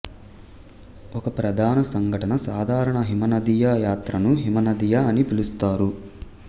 ఒక ప్రధాన సంఘటన సాధారణ హిమనదీయ యాత్రను హిమనదీయ అని పిలుస్తారు